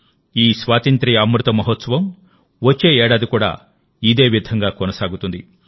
ఈ స్వాతంత్ర్య అమృత మహోత్సవం వచ్చే ఏడాది కూడా ఇదే విధంగా కొనసాగుతుంది